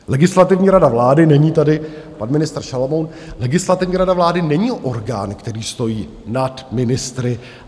Legislativní rada vlády, není tady pan ministr Šalomoun, Legislativní rada vlády není orgán, který stojí nad ministry.